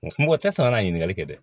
Mɔgɔ tɛ sɔn kana ɲininkali kɛ dɛ